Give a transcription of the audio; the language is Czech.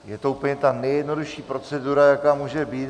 Je to úplně ta nejjednodušší procedura, jaká může být.